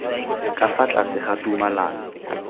ka fa tlase ga tumalano